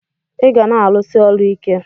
iga na alus8 ọlụ ike!!